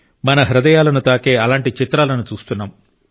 మన హృదయాలను తాకే అలాంటి చిత్రాలను చూస్తున్నాం